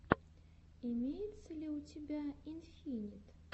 имеется ли у тебя инфинит